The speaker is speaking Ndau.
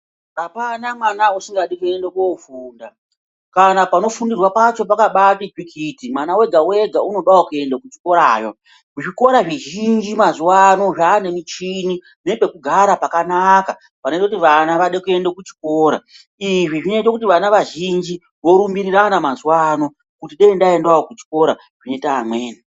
Apana mwana usingadi kuende kofunda kana panofundirwa pacho pakabaati tsvikiti mwana wega wega unodawo kuenda kuchikorayo zvikora zvizhinji mazuwa ano zvaane michini nepekugara pakanaka panoite kuti vana Vade kuenda kuchikora izvi zvinoite kuti vana vazhinji vorumbirirana mazuwa ano kuti dai ndaendawo kuchikora kunoenda amweni.